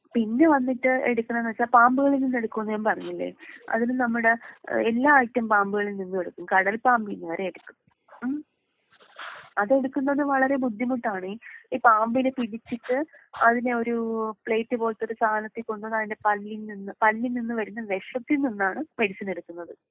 പിന്നെ വന്നിട്ട് എടുക്ക്ണെ എന്ന് വെച്ചാ പാമ്പുകളിൽ നിന്ന് എടുക്കും എന്ന് ഞാൻ പറഞ്ഞില്ലേ അതിന് നമ്മുടേ ഏഹ് എല്ലാ ഐറ്റം പാമ്പുകളിൽ നിന്നും എടുക്കും. കടൽ പാമ്പീന്ന് വരേ എടുക്കും. അതെടുക്കുന്നത് വളരേ ബുദ്ധിമുട്ടാണ്.ഈ പാമ്പിനെ പിടിച്ചിട്ട് അതിനെ ഒരൂ പ്ലെയിറ്റ് പോലത്തെ ഒരു സാധനത്തിൽ കൊണ്ട് വന്ന് അതിന്റെ പല്ലിൽ നിന്ന് പല്ലിൽ നിന്ന് വരുന്ന വെഷത്തിൽ നിന്നാണ് മെഡിസിൻ എടുക്കുന്നത്.